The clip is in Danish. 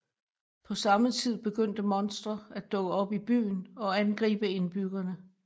På samme tid begynder monstre at dukke op i byen og angribe indbyggerne